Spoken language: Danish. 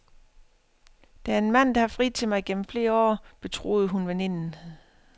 Der er en mand, der har friet til mig gennem flere år, betroede hun veninden.